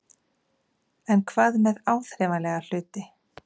En hvað með áþreifanlega hluti?